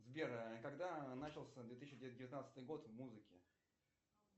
сбер а когда начался две тысячи девятнадцатый год в музыке